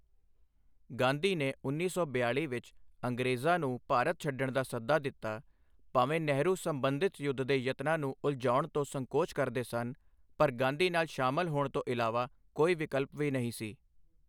ਗਾਂਧੀ ਨੇ ਉੱਨੀ ਸੌ ਬਿਆਲੀ ਵਿੱਚ ਅੰਗਰੇਜ਼ਾਂ ਨੂੰ ਭਾਰਤ ਛੱਡਣ ਦਾ ਸੱਦਾ ਦਿੱਤਾ, ਭਾਵੇਂ ਨਹਿਰੂ ਸਬੰਧਿਤ ਯੁੱਧ ਦੇ ਯਤਨਾਂ ਨੂੰ ਉਲਝਾਉਣ ਤੋਂ ਸੰਕੋਚ ਕਰਦੇ ਸਨ, ਪਰ ਗਾਂਧੀ ਨਾਲ ਸ਼ਾਮਲ ਹੋਂਣ ਤੋਂ ਇਲਾਵਾ ਕੋਈ ਵਿਕਲਪ ਵੀ ਨਹੀਂ ਸੀ।